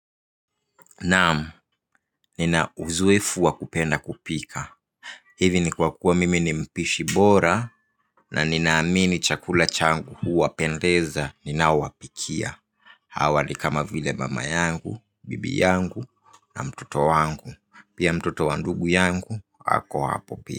Naam, nina uzoefu wa kupenda kupika. Hivi ni kwa kuwa mimi ni mpishi bora na nina amini chakula changu huwapendeza ninaowapikia. Hawa ni kama vile mama yangu, bibi yangu na mtoto wangu. Pia mtoto wa ndugu yangu, ako hapo pia.